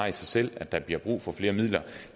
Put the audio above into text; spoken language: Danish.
i sig selv at der bliver brug for flere midler